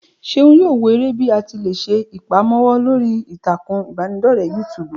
Ṣeun yóò wò eré bí àti lé se ìpamọ́wọ́ lórí ìtàkùn ìbánidọ́rẹ́ yútúbú.